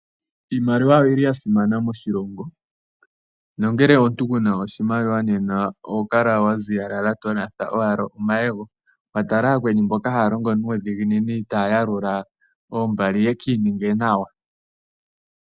Iimaliwa oyili yasimana moshilongo. Nongele waayina omuntu oho kala owala wa ziyalala to latha owala omayego. Wa tala yakweni mboka haa longo nuudhiginini taa yalula ombaali yoye ki ininge nawa.